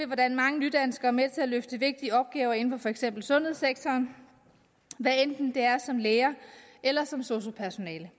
hvordan mange nydanskere er med til at løfte vigtige opgaver inden for for eksempel sundhedssektoren hvad enten det er som læger eller som sosu personale